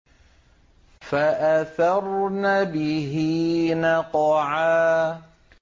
فَأَثَرْنَ بِهِ نَقْعًا